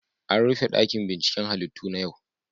An rufe dakin binciken halittu na yau.